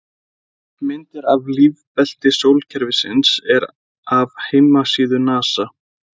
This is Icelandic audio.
Myndin af lífbelti sólkerfisins er af heimasíðu NASA.